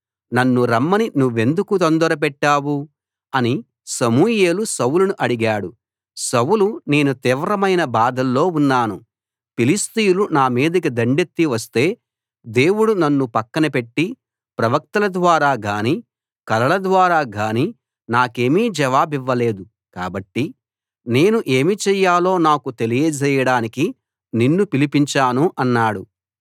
నన్ను రమ్మని నువ్వెందుకు తొందరపెట్టావు అని సమూయేలు సౌలును అడిగాడు సౌలు నేను తీవ్రమైన బాధల్లో ఉన్నాను ఫిలిష్తీయులు నా మీదికి దండెత్తి వస్తే దేవుడు నన్ను పక్కన పెట్టి ప్రవక్తల ద్వారా గానీ కలల ద్వారా గానీ నాకేమీ జవాబివ్వలేదు కాబట్టి నేను ఏమి చేయాలో నాకు తెలియజేయడానికి నిన్ను పిలిపించాను అన్నాడు